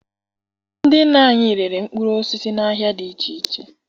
Ndị nna anyị rere mkpụrụ osisi n'ahịa dị iche iche